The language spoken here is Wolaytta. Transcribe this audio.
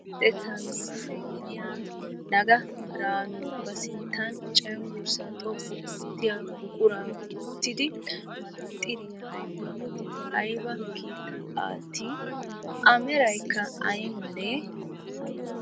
Luxettaa ministered gidiya nagga biraanu ba sinttan cenggurssaa xoqqu oottiya buquraa wottidi manaaxxiriya ayifiyan wottidi ayiba kiitaa aattiiddi? A merayikka ay malee?